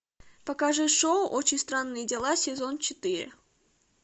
покажи шоу очень странные дела сезон четыре